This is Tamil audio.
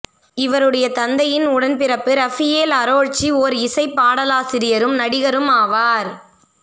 இவருடைய தந்தையின் உடன்பிறப்பு இரஃபியேல் அரோழ்சி ஓர் இசைப் பாடலாசிரியரும் நடிகரும் ஆவார்